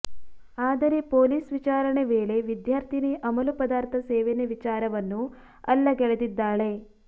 ಆದರೆ ಪೊಲೀಸ್ ವಿಚಾರಣೆ ವೇಳೆ ವಿದ್ಯಾರ್ಥಿನಿ ಅಮಲು ಪದಾರ್ಥ ಸೇವನೆ ವಿಚಾರವನ್ನು ಅಲ್ಲಗಳೆದಿದ್ದಾಳೆ